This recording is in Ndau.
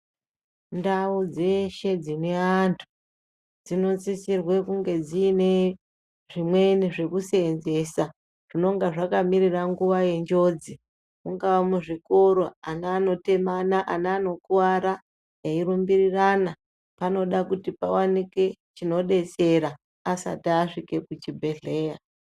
Ndau dzeshe dzine antu dzinosisirwe kunge dziine zvimweni zvekuseenzesa zvinonga zvakamirira nguva yenjodzi mungava muzvikoro ana anotemana ana anokuwara eirumbirirana anode kuti pawanike chinodetsera asati asvika kuzvibhedhlera.